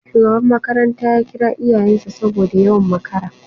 Shugaba makaranta ya kira iyayen sa saboda yawan makara